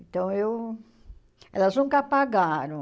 Então, eu elas nunca pagaram.